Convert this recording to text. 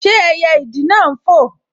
Ṣé ẹyẹ ìdì náà n fò?